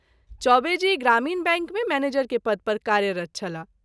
चौबे जी ग्रामीण बैंक मे मैनेजर के पद पर कार्यरत् छलाह।